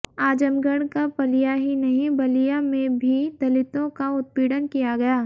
आजमगढ़ का पलिया ही नहीं बलिया में भी दलितों का उत्पीड़न किया गया